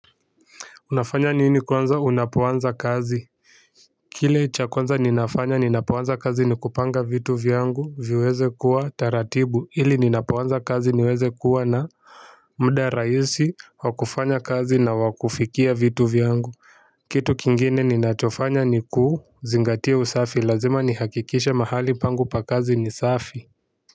Unafanya nini kwanza unapoanza kazi. Kile cha kwanza ninafanya ninapoanza kazi ni kupanga vitu vyangu viweze kuwa taratibu ili ninapoanza kazi niweze kuwa na muda rahisi wa kufanya kazi na wa kufikia vitu vyangu. Kitu kingine ninachofanya ni kuu zingatia usafi lazima nihakikishe mahali pangu pa kazi ni safi.